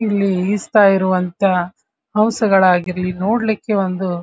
ಇಲ್ಲಿ ಇರುವಂಥ ಹೌಸ ಗಳಾಗಿರ್ಲಿ ನೋಡ್ಲಿಕೆ ಒಂದು --